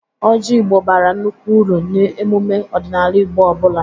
Ọjị Igbo bara nnukwu uru n'emume ọdịnala Igbo ọ bụla.